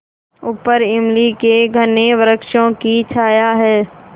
ऊपर इमली के घने वृक्षों की छाया है